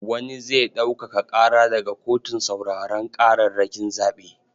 Wani zai ɗaukaka ƙara daga kotun sauraron ƙararrakin zaɓe.